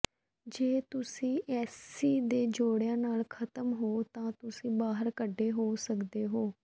ਜੇ ਤੁਸੀਂ ਐਸੀ ਦੇ ਜੋੜਿਆਂ ਨਾਲ ਖਤਮ ਹੋ ਤਾਂ ਤੁਸੀਂ ਬਾਹਰ ਕੱਢੇ ਹੋ ਸਕਦੇ ਹੋ